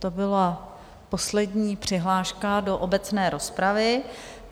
To byla poslední přihláška do obecné rozpravy.